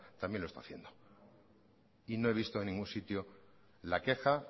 también lo está haciendo y no he visto en ningún sitio la queja